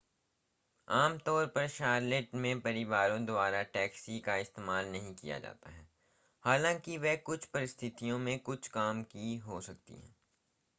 आमतौर पर शॉर्लेट में परिवारों द्वारा टैक्सी का इस्तेमाल नहीं किया जाता है हालांकि वे कुछ परिस्थितियों में कुछ काम की हो सकती हैं